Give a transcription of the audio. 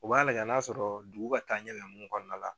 U b'a lajɛ n'a sɔrɔɔ dugu ka taaɲɛ be nunnu kɔɔna la